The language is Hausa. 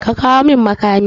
Ka kawo min makani!